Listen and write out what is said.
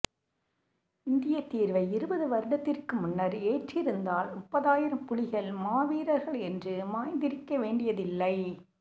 இந்திய தீர்வை இருபது வருடத்திற்கு முன்னர் ஏற்றிருந்தால் முப்பதாயிரம் புலிகள் மாவீரர்கள் என்று மாய்ந்திருக்க வேண்டியதில்லை